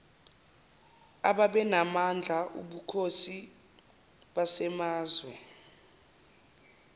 ababenamandla obukhosi basemazwe